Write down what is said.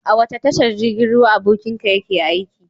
A wace tashar jirgin ruwa abokinka yake aiki?